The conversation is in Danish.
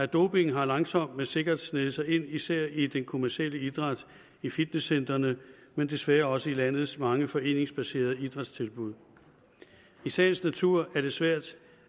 doping har langsomt men sikkert sneget sig ind især i den kommercielle idræt i fitnesscentrene men desværre også i landets mange foreningsbaserede idrætstilbud i sagens natur er det svært